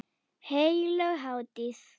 Heilög hátíð.